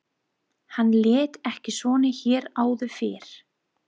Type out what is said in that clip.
Hann lét ekki svona hér áður fyrr.